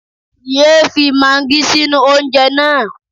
Yé é fi maagí sínú oúnjẹ náà.